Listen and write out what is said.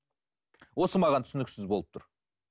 осы маған түсініксіз болып тұр